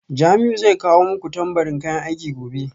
Jamiu zai kawo muku tambarin kayan aiki gobe